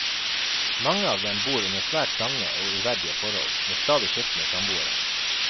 Mange av dem bor under svært trange og uverdige forhold, med stadig skiftende samboere.